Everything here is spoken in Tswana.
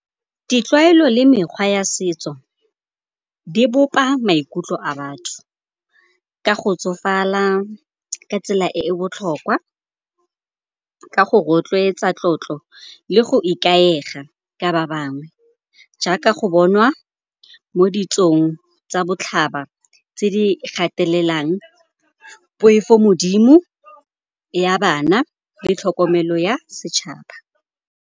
Ditlwaelo le mekgwa ya setso di bopa maikutlo a batho ka go tsofala ka tsela e e botlhokwa, ka go rotloetsa tlotlo le go ikaega ka ba bangwe. Jaaka go bonwa mo ditsong tsa botlhaba tse di gatelelang poifo modimo ya bana le tlhokomelo ya setšhaba.